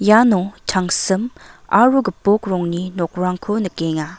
iano tangsim aro gipok rongni nokrangko nikenga.